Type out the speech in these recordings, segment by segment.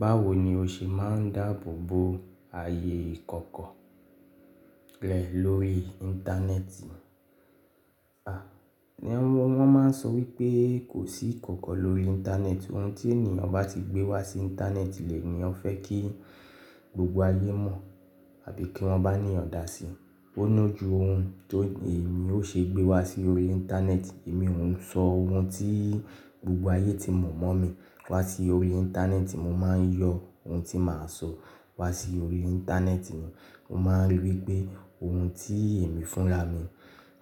Báwo ni o ṣe máa n dáàbò bo ààyè ìkọ̀kọ̀ rẹ lórí Íńtánẹ́ẹ̀tì? À, ní wọ́n máa n sọ wípé kò sí ìkọ̀kọ̀ lórí Íńtánẹ́ẹ̀tì, ohun tí ènìyàn bá ti gbé wá sí Íńtánẹ́ẹ̀tì lẹ ẹ̀niyan fẹ́ kí gbogbo ayé mọ̀ àbí kí wọ́n bá eniyan dá sí i. Ó lójú ohun tó èmi ó ṣe gbé wá sí orí Íńtánẹ́ẹ̀tì, èmi ò n sọ ohun tí gbogbo ayé ti mọ̀ mọ́ mi wá sí orí Íńtánẹ́ẹ̀tì, mo máa n yọ ohun tí màá sọ wá sí orí Íńtánẹ́ẹ̀tì ni. Mo máa n ri wípé ohun tí èmi fúnra mi,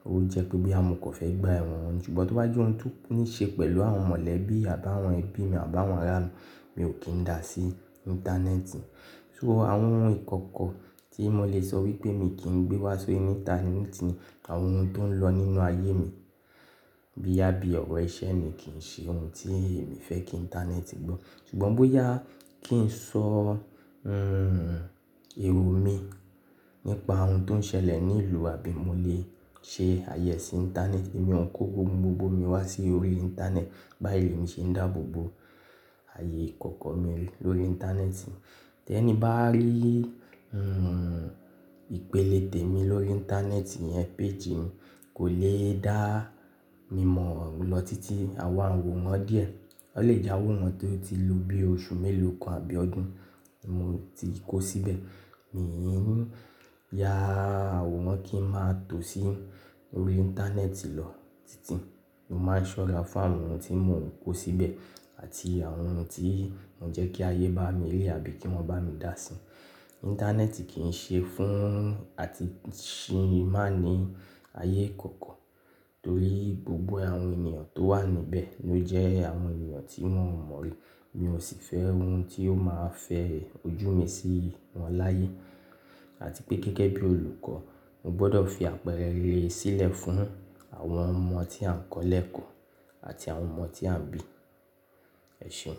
ó jẹ́ pé boya mọ̀ kan fẹ́ gba ẹ̀wọ̀n, ṣùgbọ́n tó bá jẹ́ ohun tó níí ṣe pẹ̀lú àwọn mọ̀lẹ́bí àbá wọn ẹbí mi àbá wọn ará mi, mi ò kín dá sí Íńtánẹ́ẹ̀tì. So àwọn ohun ìkọ̀kọ̀ tí mo lè sọ wípé mi kí n gbé wá sí Íńtánẹ́ẹ̀tì ni àwọn ohun tó ń lọ nínú ayé mi boyà bí ọ̀rọ̀ iṣẹ́ mi kì ń ṣe ohun tí èmi fẹ́ kí Íńtánẹ́ẹ̀tì gbọ́. Ṣùgbọ́n bóyá kí n sọ, hmm, èrò mi nípa ohun tó n ṣẹlẹ̀ ní ìlú àbí mo lè ṣe ààyè sí Íńtánẹ́ẹ̀tì, èmi ò ń ko ohun gbogbo mi wá sí orí Íńtánẹ́ẹ̀tì, báyìí lemi ṣé n dáàbò bo ààyè ìkọ̀kọ̀ mi lórí Íńtánẹ́ẹ̀tì. Tẹ́ni bá rí, hmm, ìpele tèmi lórí Íńtánẹ́ẹ̀tì iyẹn page mi kò lè dáá mi mọ̀ lọ títí àwa wò wọ́n díẹ̀. Ó lè jaworan tó ti ló bí i oṣù mélòó kan àbí ọdún mo ti kó síbẹ̀. Míì yá àwòrán kí n máa tò sí orí Íńtánẹ́ẹ̀tì lọ títí, mo máa ń ṣọ́ra fún àwọn ohun tí mò ń kó síbẹ̀ àti àwọn ohun tí mò ń jẹ́ kí ayé bá mi rí àbí kí wọ́n bá mi dáa sí i. Íńtánẹ́ẹ̀tì kì ń ṣe fún àtìsímánì ayé ìkọ̀kọ̀ torí gbogbo àwọn ènìyàn tó wà níbẹ̀ ló jẹ́ àwọn ènìyàn tí un o mọ̀ rí. Mi ò sì fẹ́ ohun tí ó máa fẹ ojú mi sí wọn láyé àti pé gẹ́gẹ́ bí olùkọ́, mo gbọdọ̀ fi àpẹẹrẹ rere sílẹ̀ fún àwọn ọmọ tí à ń kọ́ lẹ́ẹ̀kọ́ àti àwọn ọmọ tí à ń bí. Ẹ ṣéun.